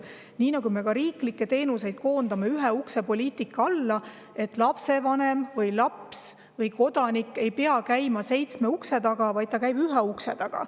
nagu me riiklikke teenuseid koondame ühe ukse poliitikast lähtudes: lapsevanem või laps või kodanik ei pea käima seitsme ukse taga, vaid ta käib ühe ukse taga.